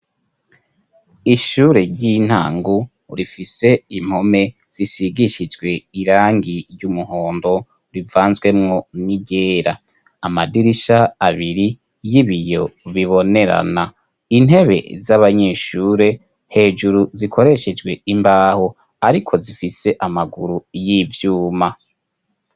Ishure ry'intango rifise impome zisigishijwe irangi ry'umuhondo rivanzwemo n'iryera amadirisha abiri y'ibiyo bibonerana intebe z'abanyeshure hejuru zikoreshejwe imbaho ariko zifise amaguru y'ivyuma.